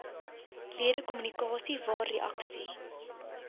ledekommunikasie waar reaksie